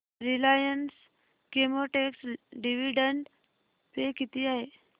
Reliance Chemotex dividend pay किती आहे